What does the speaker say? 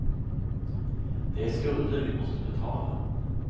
Det är skulder vi måste betala.